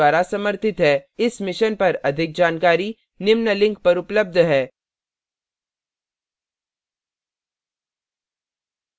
इस mission पर अधिक जानकारी निम्न लिंक पर उपलब्ध है